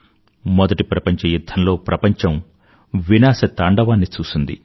మొదటి ప్రపంచ యుధ్ధం లో ప్రపంచం వినాశతాండవాన్ని చూసింది